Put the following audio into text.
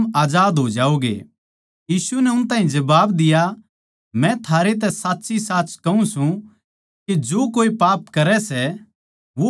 यीशु नै उन ताहीं जबाब दिया मै थारैतै साच्चीसाच कहूँ सूं के जो कोए पाप करै सै वो पाप का गुलाम सै